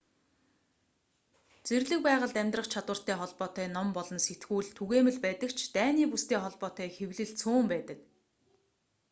зэрлэг байгальд амьдрах чадвартай холбоотой ном болон сэтгүүл түгээмэл байдаг ч дайны бүстэй холбоотой хэвлэл цөөн байдаг